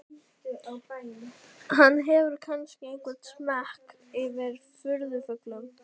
Hann hefur kannski einhvern smekk fyrir furðufuglum.